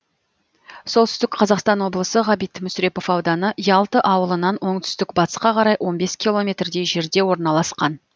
солтүстік қазақстан облысы ғабит мүсірепов ауданы ялты ауылынан оңтүстік батысқа қарай он бес километрдей жерде орналасқан